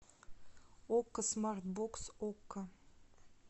окко смарт бокс окко